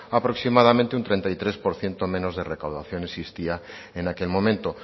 aproximadamente un treinta y tres por ciento menos de recaudación existía en aquel momento